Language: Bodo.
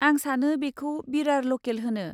आं सानो बेखौ बिरार ल'केल होनो।